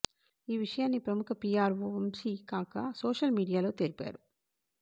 ఈ విషయాన్ని ప్రముఖ పీఆర్వో వంశీ కాకా సోషల్ మీడియాలో తెలిపారు